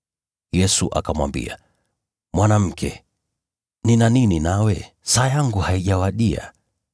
Yesu akamwambia, “Mwanamke, nina nini nawe? Saa yangu haijawadia.”